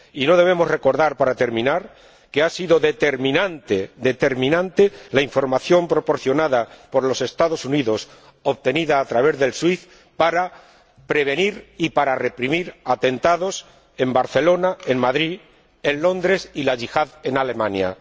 Y no debemos olvidar, para terminar, que ha sido determinante la información proporcionada por los Estados Unidos obtenida a través de SWIFT para prevenir y para reprimir atentados en Barcelona, en Madrid, en Londres, y de la Yihad en Alemania.